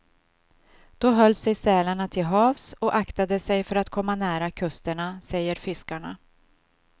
Då höll sig sälarna till havs och aktade sig för att komma nära kusterna, säger fiskarna.